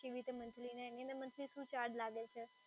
કેવી રીતે મન્થલી અને એની અંદર મન્થલી શું ચાર્જ લાગે છે?